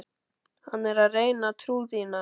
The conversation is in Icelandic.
Hann er að reyna trú þína.